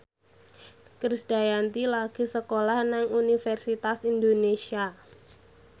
Krisdayanti lagi sekolah nang Universitas Indonesia